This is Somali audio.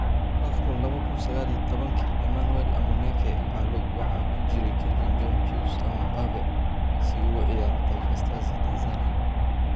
Afcon laba kuun sagaal iyo tobanki: Emmanuel Amuneke waxaa ku jiray Kelvin John Pius ama 'Mbappe' si uu ugu ciyaaro Taifa Stars ee Tanzania